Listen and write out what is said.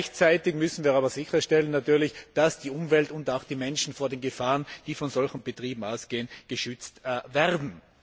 Gleichzeitig müssen wir aber natürlich sicherstellen, dass die Umwelt und auch die Menschen vor den Gefahren, die von solchen Betrieben ausgehen, geschützt werden.